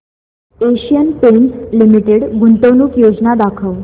Asian Paints limited गुंतवणूक योजना दाखव